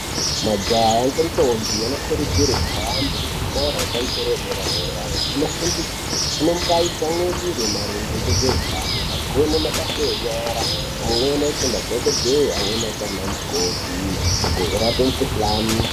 Majaha ngendombi anokurudzirwe kuhambe kuzvikoro zvepamusoro dera dera kunofundi unombayi tsamwirire maringe ngezveutano agone mabasa enyara amweni aite madhokodhee amweni aite ana mukoti agorape mukhuhlani.